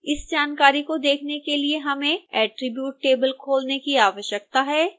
इस जानकारी को देखने के लिए हमें attribute table खोलने की आवश्यकता है